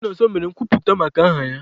Chinonso mere nkwuputa maka aha ya.